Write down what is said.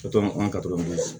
an ka to mana